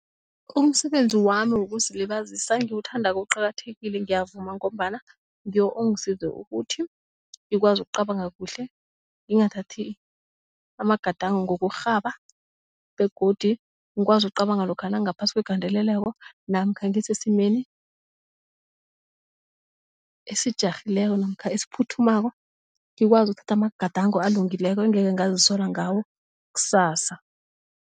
Umsebenzi wami wokuzilibazisa engiwuthandako uqakathekile ngiyavuma ngombana ngiwo ongisize ukuthi ngikwazi ukucabanga kuhle ngingathathi amagadango ngokurhaba begodi ngikwazi ukucabanga lokha nangaphasi kwegandeleleko namkha ngisesimeni esijarhileko namkha esiphuthumako ngikwazi uthatha amagadango alungileko angekhe ngazisola ngawo kusasa.